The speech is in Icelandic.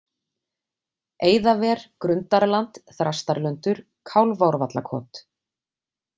Eiðaver, Grundarland, Þrastarlundur, Kálfárvallakot